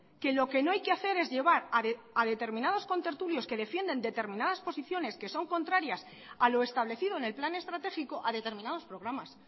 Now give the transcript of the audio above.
que lo que no hay que hacer es llevar a determinados contertulios que defienden determinadas posiciones que son contrarias a lo establecido en el plan estratégico a determinados programas